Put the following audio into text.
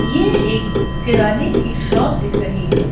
ये एक किराने की शॉप दिख रही है।